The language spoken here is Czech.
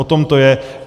O tom to je.